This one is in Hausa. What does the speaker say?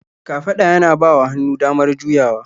Kafada yana bawa hannu damar juyawa.